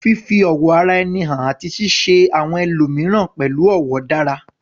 Fífi ọ̀wọ̀ ara ẹni hàn àti ṣíṣe àwọn ẹlòmíràn pẹ̀lú ọ̀wọ̀ dára